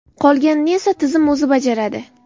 Qolganini esa tizim o‘zi bajaradi.